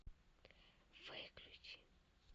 выключи